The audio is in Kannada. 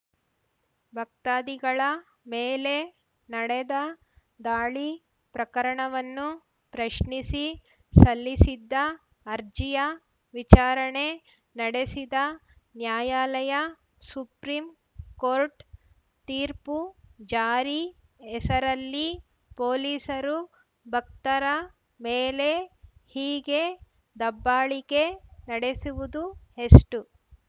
ಭಕ್ತಾದಿಗಳ ಮೇಲೆ ನಡೆದ ದಾಳಿ ಪ್ರಕರಣವನ್ನು ಪ್ರಶ್ನಿಸಿ ಸಲ್ಲಿಸಿದ್ದ ಅರ್ಜಿಯ ವಿಚಾರಣೆ ನಡೆಸಿದ ನ್ಯಾಯಾಲಯ ಸುಪ್ರೀಂಕೋರ್ಟ್‌ ತೀರ್ಪು ಜಾರಿ ಹೆಸರಲ್ಲಿ ಪೊಲೀಸರು ಭಕ್ತರ ಮೇಲೆ ಹೀಗೆ ದಬ್ಬಾಳಿಕೆ ನಡೆಸುವುದು ಎಷ್ಟು